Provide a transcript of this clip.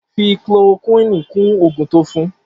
Fi chloroquini kún oògùn to fún